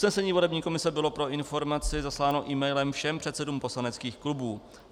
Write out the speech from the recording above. Usnesení volební komise bylo pro informaci zasláno emailem všem předsedům poslaneckých klubů.